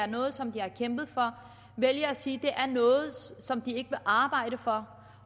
noget som de har kæmpet for vælger at sige at det er noget som de ikke vil arbejde for